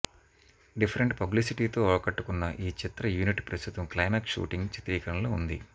different పబ్లిసిటీతో ఆకట్టుకున్న ఈ చిత్ర యూనిట్ ప్రస్తుతం క్లైమాక్స్ షూటింగ్ చిత్రీకరణలో ఉంది